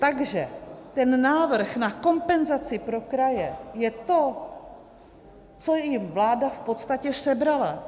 Takže ten návrh na kompenzaci pro kraje je to, co jim vláda v podstatě sebrala.